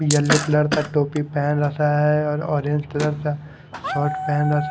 yellow colour का टोपी पहन रखा है ऑरेंज कलर का शार्ट पहन रखा--